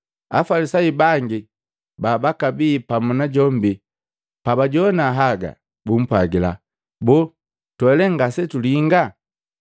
Afalisayu bangi babakabi pamu najombi pabajowana haga, bumpwajila, “Boo, natwe lee ngasetulinga?”